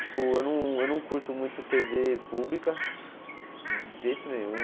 Tipo, eu não eu não curto muito tê vê pública, de jeito nenhum.